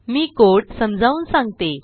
मी code समजावून सांगते